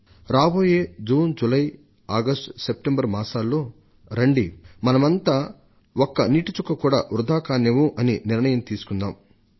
రాబోయే June July August September నెలల్లో రండి మనమంతా ఒక్కనీటి చుక్క కూడా వృథా కానివ్వం అనే నిర్ణయాన్ని తీసుకుందాం అంటూ